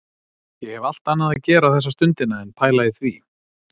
Ég hef allt annað að gera þessa stundina en pæla í því